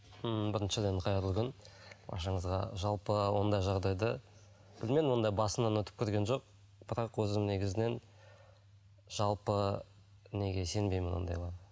ммм біріншіден қайырлы күн баршаңызға жалпы ондай жағдайды білмедім ондай басымнан өтіп көрген жоқ бірақ өзім негізінен жалпы неге сенбеймін ондайларға